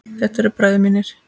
Þetta eru bræður mínir.